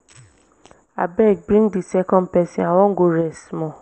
abeg bring the second person i wan go rest small